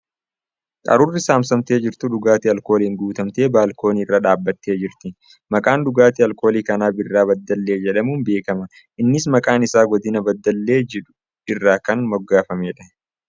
Qaruurri saamsamtee jirtu dhugaatii alkooliin guutamtee baalkoonii irra dhaabbattee jirti. Maqaan dhugaatii alkoolii kanaa ' Biiraa Baddallee ' jedhamuun beekama. Innis maqaan isaa godiina baddallee jedhu irraa kan moggaafameedha .